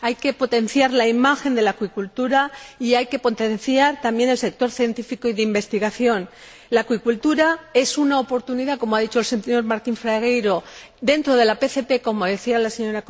Hay que potenciar la imagen de la acuicultura y también el sector científico y de investigación. La acuicultura es una oportunidad, como ha dicho el señor Martín Fragueiro, dentro de la PCP, como decía la Sra.